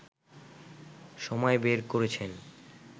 সময় বের করেছেন